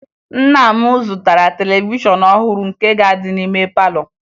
Nna m zụtara televishọn ọhụrụ nke ga-adị n'ime palọ